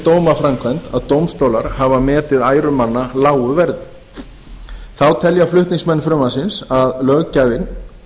dómaframkvæmd að dómstólar hafa metið æru manna lágu verði þá telja flutningsmenn frumvarpsins að löggjafinn